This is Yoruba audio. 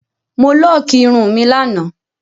Mo lọọkí irun mi lánàá